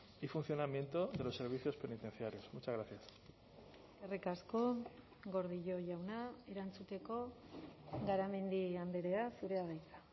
y funcionamiento de los servicios penitenciarios muchas gracias eskerrik asko gordillo jauna erantzuteko garamendi andrea zurea da hitza